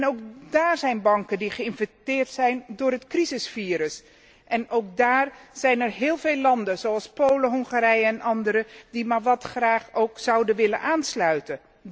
Ook daar zijn banken die geïnfecteerd zijn door het crisisvirus en ook daar zijn er heel veel landen, zoals Polen, Hongarije en andere, die maar wat graag zouden aansluiten.